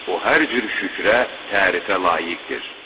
O hər cür şükrə, tərifə layiqdir.